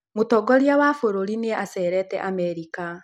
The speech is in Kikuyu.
Mũtongoria wa bũrũri nĩ acerete Amerika.